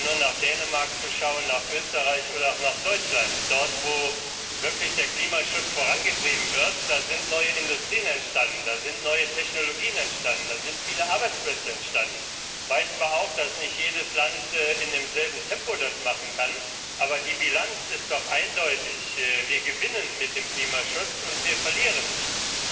Man braucht doch nur nach Dänemark zu schauen, nach Österreich oder auch nach Deutschland. Dort, wo wirklich der Klimaschutz vorangetrieben wird, sind neue Industrien entstanden, sind neue Technologien entstanden, sind viele Arbeitsplätze entstanden. Ich weiß zwar auch, dass das nicht jedes Land in demselben Tempo machen kann, aber die Bilanz ist doch eindeutig Wir gewinnen mit dem Klimaschutz, und wir verlieren nichts.